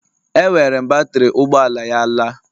Ewere m batrị ụgbọ ala ya laa